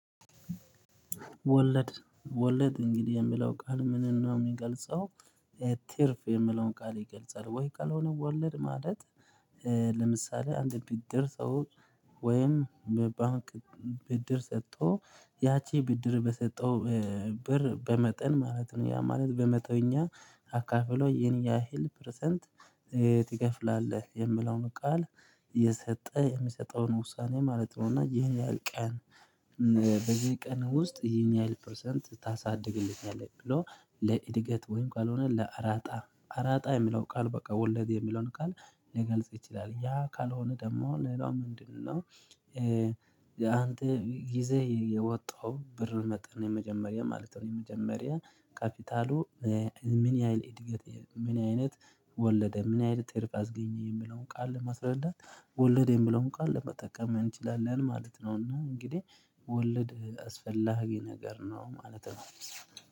ወለድ ወለድ እንግዲህ የሚለው ቃል ምንነው የሚገልጸው ትርፍ የሚለውን ቃል ይገልጻል። ወይ ካልሆነ ወለድ ማለት ለምሳሌ አንድ ብድር ሰው ወይም በባንክ ብድር ሰጥቶ ያቺ ብድር በሰጠው ብር በመጠን ማለት ነው ያ ማለት በመቶኛ አካፍሎ ይሄን ያህል ፐረሰንት ትከፍላለህ የሚለውን ቃል የሚሰጠውን ውሳኔ ማለት ነው። እና ይሄን ያህል ቀን በዚህ ቀን ውስጥ ይሄን ያህል ፐርሰንት ታሳድግልኛለህ ብሎ ለእድገት ወይም ካልሆነ ለአራጣ አራጣ የሚለው ቃል በቃ ወለድ የሚለውን ቃል ሊገልጽ ይችላል። ያ ካልሆነ ደግሞ ሌላው ምንድነው አንተ ይዘህ የወጣኸው ብር መጠን የመጀመሪያ ማለት ነው። የመጀመሪያ ካፒታሉ ምን ያህል እድገት ምን አይነት ወለደ ምን አይነት ትርፍ አስገኘ የሚለው ቃል ለመስረዳት ወለደ የሚለውን ቃል ለመጠቀም እንችላለን ማለት ነው። እናም እንግዲህ ወለድ አስፈላጊ ነገር ነው ማለት ነው።